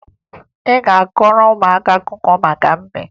Ị ga-akọọrọ ụmụaka akụkọ maka mbe